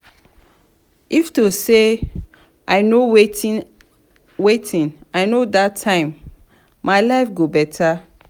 if to say i no wetin i no dat time my life go beta.